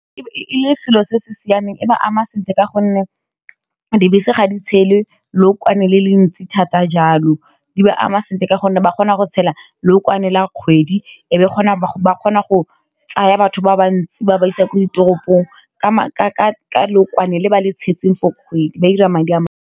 E le selo se se siameng e ba ama sentle ka gonne dibese ga di tshele lookwane le le ntsi thata jalo di ba ama sentle ka gonne ba kgona go tshela lookwane la kgwedi e be kgona ba kgona go tsaya batho ba bantsi ba ba isa ko ditoropong ka lookwane le ba le tshetseng for kgwedi ba ira madi a mantsi.